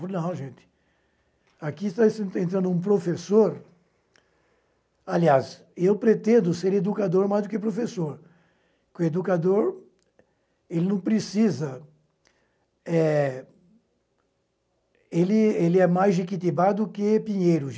Falei, não, gente, aqui está entrando um professor... Aliás, eu pretendo ser educador mais do que professor, porque o educador ele não precisa eh... Ele ele é mais Jequitibá do que Pinheiro.